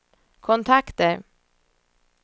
kontakter